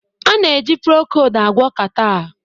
A na-eji Procold agwọ catarrh